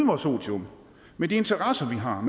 vores otium med de interesser vi har